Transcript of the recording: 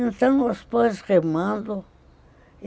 Então, nós fomos remando.